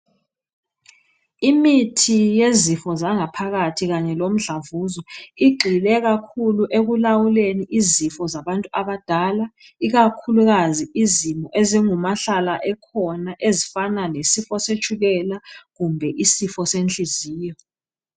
Imithi yezifo zangaphakathi kanye lomdlavuzo, igxile kakhulu ekulawuleni izifo zabantu abadala, ikakhuluazi izifo ezingumahlala ekhona ezifana lesifo setshukela, kumbe lisifo senhliziyo.